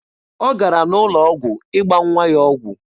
Ọ gara n'ụlọ ọgwụ ịgba nwa ya ọgwụ.